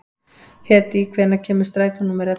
Hedí, hvenær kemur strætó númer ellefu?